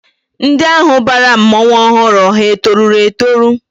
Ndị ahụ bara mmọnwụ ọhụrụ ha etoruru etoru?